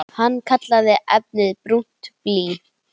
Hann kallaði efnið brúnt blý.